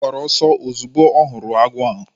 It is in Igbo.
Ọ gbawara ọsọ ozugbo ọ hụrụ agwọ ahụ